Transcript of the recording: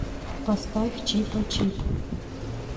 поставь чипачип